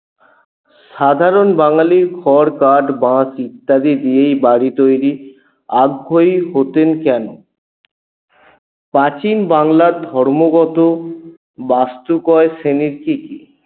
সাধারণ বাঙালী খড় কাঠ বাঁশ ইত্যাদি দিয়েই বাড়ি তৈরি হতেন কেন? প্রাচীন বাংলার ধর্মগত বাস্তকয় শ্রেণী কি কি?